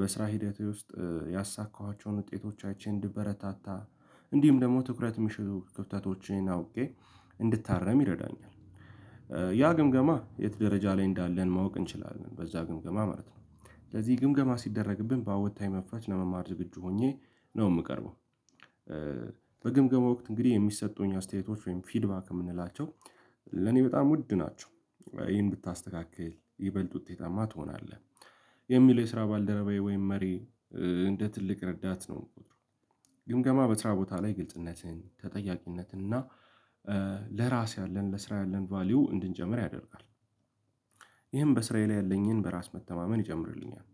በስራ ሂደቴ ውስጥ ያሳካኋቸውን ውጤቶቻችን እንድበረታታ እንዲሁም ደግሞ ትኩረት ምሹ ክፍተቶችን አውቄ እንድታረም ይረዳኛል። ያ ግምገማ የት ደረጃ ላይ እንዳለን ማወቅ እንችላለን በዛ ግምገማ ማለት ነው። ስለዚህ ግምገማ ሲደረግብን ባወታይ መፍቻች ለመማር ዝግጁ ሆኜ ነው የምቀርበው። በግምገማ ወቅት እንግዲህ የሚሰጡኝ አስተያየቶች ወይም ፊድባክ የምንላቸው ለኔ በጣም ውድ ናቸው ይህን ብታስተካክል ይበልጥ ውጤታማ ትሆናለህ። የሚለው የስራ ባልደረባዬ ወይም መሪ እንደ ትልቅ ረዳት ነው ምቆጥረው። ግምገማ በስራ ቦታ ላይ ግልጽነትን ተጠያቂነትን እና ለራስ ያለን ለስራ ያለን ቫልዩ እንድንጨምር ያደርጋል። ይህም በስራዬ ላይ ያለኝን በራስ መተማመን ይጨምርልኛል።